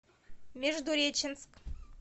междуреченск